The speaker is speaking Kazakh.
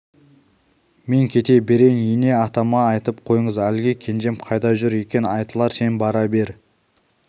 мен кете берейін ене атама айтып қойыңыз әлгі кенжем қайда жүр екен айтылар сен бара бер